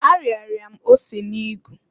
Ariara m ose n'igu.